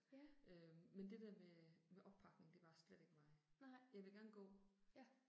Ja. Nej. Ja